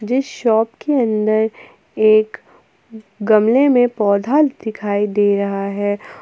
इस शॉप के अंदर एक गमले में पौधा दिखाई दे रहा है।